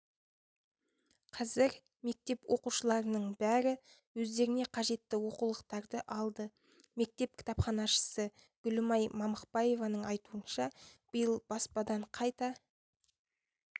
қазір мектеп оқушыларының бәрі өздеріне қажетті оқулықтарды алды мектеп кітапханашысы гүлімай мамықбаеваның айтуынша биыл баспадан қайта